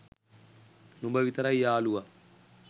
නුඹ විතරයි යාලුවා